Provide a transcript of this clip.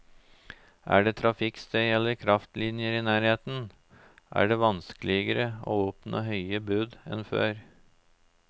Er det trafikkstøy eller kraftlinjer i nærheten, er det vanskeligere å oppnå høye bud enn før.